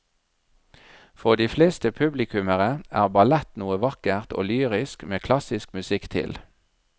For de fleste publikummere er ballett noe vakkert og lyrisk med klassisk musikk til.